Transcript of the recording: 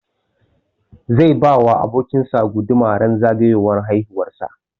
Zai ba wa abokin sa guduma ran zagayowar haihuwar sa